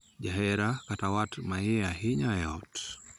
Jahera kata wat ma iye ahinya e ot.